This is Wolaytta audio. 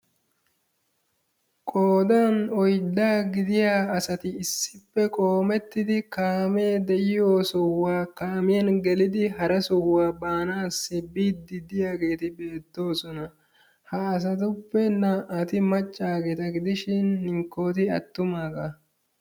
Qoodaan oyddaa gidiyaa asati issippe qoomettidi kaamee de'yoo sohuwaa kaamyaan geelidi hara sohuwaa baanasi biidi de'iyaageti beettoosona. Ha asatuppe na"ay maccaageta gidishin hinkkoy attummaaga.